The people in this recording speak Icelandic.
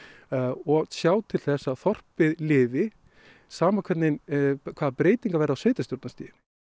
og sjá til þess að þorpið lifi sama hvaða breytingar verða á sveitarstjórnarstiginu